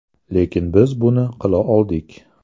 Lekin biz buni qila oldik.